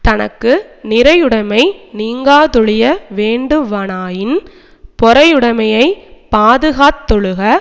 தனக்கு நிறையுடைமை நீங்காதொழிய வேண்டுவனாயின் பொறையுடைமையைப் பாதுகாத்தொழுக